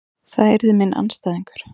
Það yrði minn andstæðingur.